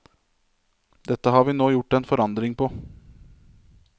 Dette har vi nå gjort en forandring på.